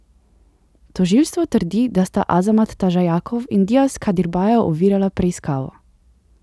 Tožilstvo trdi, da sta Azamat Tažajakov in Dias Kadirbajev ovirala preiskavo.